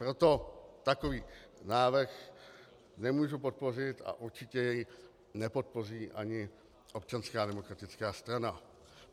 Proto takový návrh nemůžu podpořit a určitě jej nepodpoří ani Občanská demokratická strana.